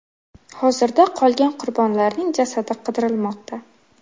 Hozirda qolgan qurbonlarning jasadi qidirilmoqda.